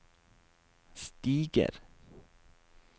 stiger